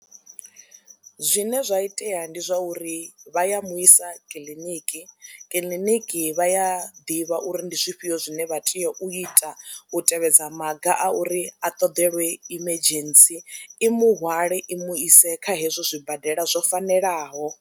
Zwine zwa itea ndi zwa uri vha ya mu isa kiḽiniki, kiḽiniki vha a ḓivha uri ndi zwifhio zwine vha tea u ita u tevhedza maga a uri a ṱoḓeliwe emergency i muhwale i mu ise kha hezwo zwibadela zwo fanelaho.